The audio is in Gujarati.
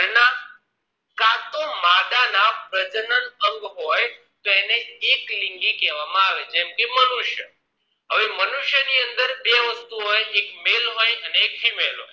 આ પ્રજનન અંગ હોય તો એને એકલિંગી કહેવાય માં આવે જેમ કે મનુષ્ય હવે મનુષ્ય ની અંદર બે વસ્તુ હોય એક male હોય અને એક female હોય